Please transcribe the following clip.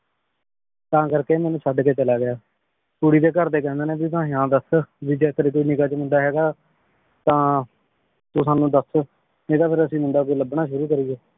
ਤਾਂ ਕਰ ਕੇ ਮੇਨੂ ਛੱਡ ਕੇ ਚਲਾ ਗਯਾ। ਕੁੜੀ ਦੇ ਘਰ ਦੇ ਕਹਿੰਦੇ ਨੇ ਤੂ ਤਾ ਦਸ ਵੀ ਜੇ ਤੇਰੀ ਕੋਈ ਨਿਗਾਹ ਚ ਮੁੰਡਾ ਹੈਗਾ ਹਾਂ ਤਾਂ ਤੂ ਸਾਨੂ ਦਸ ਨਈ ਤਾਂ ਫੇਰ ਅਸੀ ਮੁੰਡਾ ਕੋਈ ਲਬਨਾ ਸ਼ੁਰੂ ਕਰੀਏ।